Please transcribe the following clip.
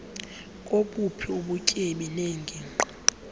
kobuphi ubutyebi neengingqi